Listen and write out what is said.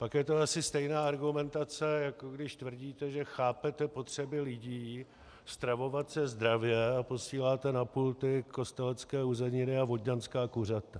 Pak je to asi stejná argumentace, jako když tvrdíte, že chápete potřeby lidí stravovat se zdravě, a posíláte na pulty kostelecké uzeniny a vodňanská kuřata.